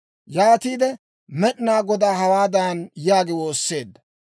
Yaatiide Med'inaa Godaa hawaadan yaagi woosseedda;